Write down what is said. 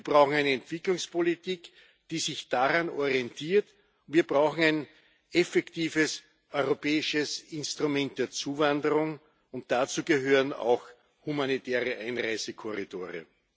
Wir brauchen eine Entwicklungspolitik, die sich daran orientiert. Wir brauchen ein effektives europäisches Instrument der Zuwanderung, und dazu gehören auch humanitäre Einreisekorridore.